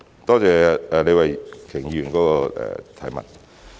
多謝李慧琼議員的補充質詢。